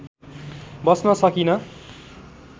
बस्न सकिन